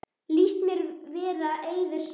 Líst mér vera eiður sær.